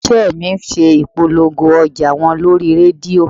Ilé iṣẹ́ mi ṣe ìpolongo ọjà wọn lórí rédíò